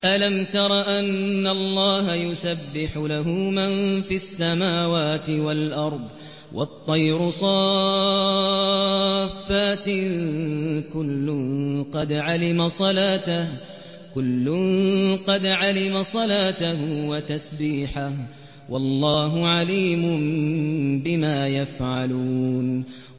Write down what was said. أَلَمْ تَرَ أَنَّ اللَّهَ يُسَبِّحُ لَهُ مَن فِي السَّمَاوَاتِ وَالْأَرْضِ وَالطَّيْرُ صَافَّاتٍ ۖ كُلٌّ قَدْ عَلِمَ صَلَاتَهُ وَتَسْبِيحَهُ ۗ وَاللَّهُ عَلِيمٌ بِمَا يَفْعَلُونَ